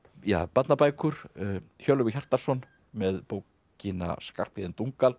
barnabækur Hjörleifur Hjartarson með bókina Skarphéðin